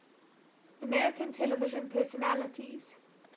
american television personalities